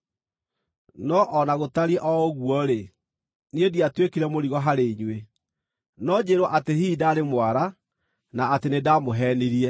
No o na gũtariĩ o ũguo-rĩ, niĩ ndiatuĩkire mũrigo harĩ inyuĩ. No njĩĩrwo atĩ hihi ndaarĩ mwara, na atĩ nĩndamũheenirie!